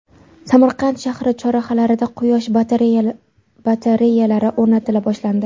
Samarqand shahri chorrahalarida quyosh batareyalari o‘rnatila boshlandi.